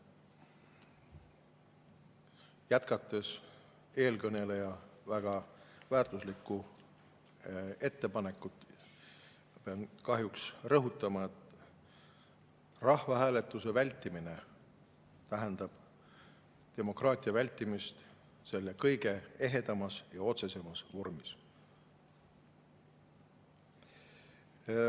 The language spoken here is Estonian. eelkõneleja väga väärtuslikku ettepanekut, pean kahjuks rõhutama, et rahvahääletuse vältimine tähendab demokraatia vältimist selle kõige ehedamas ja otsesemas vormis.